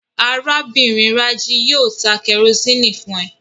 Arábìnrin Rájí yóò ta kẹrosíni fún ẹ